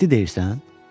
Ciddi deyirsən?